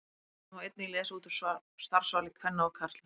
Þetta má einnig lesa út úr starfsvali kvenna og karla.